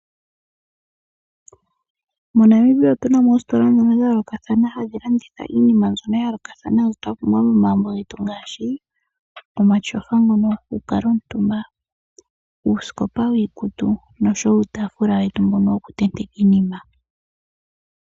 MoNamibia otuna mo oositola dhayolokathana hadhi landitha iinima mbyono ya yolookathathana mbyono ya pumbiwa momagumbo getu ngaashi; omatyofa ngono goku kala omutumba, uusikopa wiikutu nosho wo uutaafula wetu mbono woku tenteka iinima.